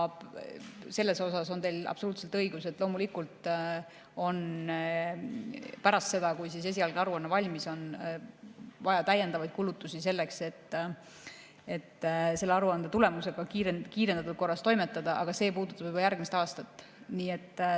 Selles on teil absoluutselt õigus, et loomulikult on pärast seda, kui esialgne aruanne valmis on, vaja täiendavaid kulutusi, selleks et selle aruande tulemusega kiirendatud korras toimetada, aga see puudutab juba järgmist aastat.